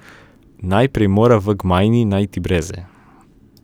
Najprej mora v gmajni najti breze.